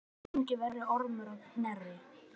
Enginn er verri en Ormur á Knerri.